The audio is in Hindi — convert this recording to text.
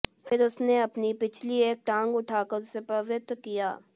फिर उसने अपनी पिछली एक टाँग उठाकर उसे पवित्र किया